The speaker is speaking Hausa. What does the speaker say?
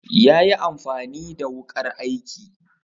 yayi amfani the wukar aiki